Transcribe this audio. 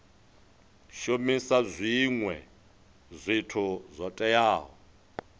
shumisa zwinwe zwithu zwo teaho